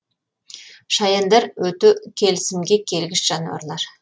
шаяндар өте келісімге келгіш жануарлар